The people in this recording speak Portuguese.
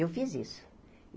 Eu fiz isso.